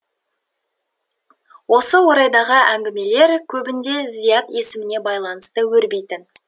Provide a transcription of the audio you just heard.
осы орайдағы әңгімелер көбінде зият есіміне байланысты өрбитін